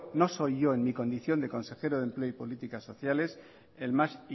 no soy yo en mi condición de consejero de empleo y políticas sociales el más